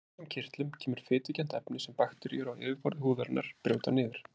Úr þessum kirtlum kemur fitukennt efni sem bakteríur á yfirborði húðarinnar brjóta niður.